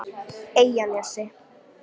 Eyjanesi